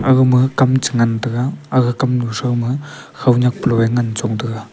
aga ma kam che ngan taiga aga kam nu sho ma hoanak polo ngan chong taiga.